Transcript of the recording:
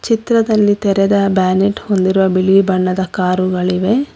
ಚಿತ್ರದಲ್ಲಿ ತೆರೆದ ಬ್ಯಾನೆಟ್ ಹೊಂದಿರುವ ಬಿಳಿ ಬಣ್ಣದ ಕಾರುಗಳಿವೆ.